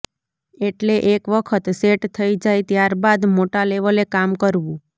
એટલે એક વખત સેટ થઈ જાય ત્યાર બાદ મોટા લેવલે કામ કરવું